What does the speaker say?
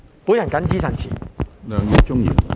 我謹此陳辭。